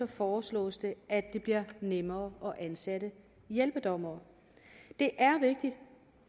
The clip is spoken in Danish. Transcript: foreslås det at det bliver nemmere at ansætte hjælpedommere det er